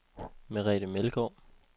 Merete Meldgaard